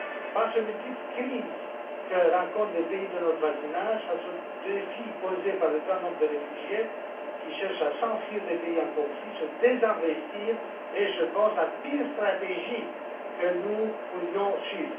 Face aux multiples crises que rencontrent les pays de notre voisinage, face au défi posé par le grand nombre de réfugiés qui cherchent à s'enfuir des pays en conflit, se désinvestir est, je pense, la pire stratégie que nous pourrions suivre.